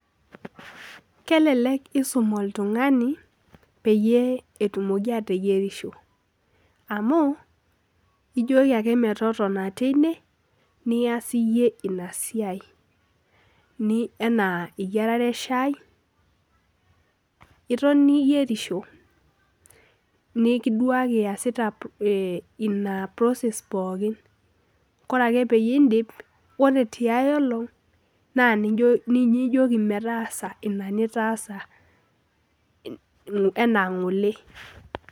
Kelelek iisum oltung'ani peyie etumoki ateyierisho amu ijoki ake metotona tine niaas iyie ina siiai enaa eyiarare eshaai iton iyierisho nekiduaki iasita ina process pookin ore ake pee iidip ore tiai olng' naa ninye ijoki metaasa ina nitaasa enaa ng'ole.